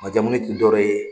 Majamuni tɛ dɔ wɛrɛ ye.